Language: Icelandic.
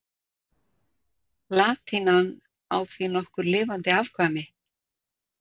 Latínan á því nokkur lifandi afkvæmi.